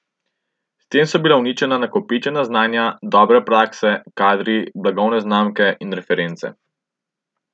S tem so bila uničena nakopičena znanja, dobre prakse, kadri, blagovne znamke in reference.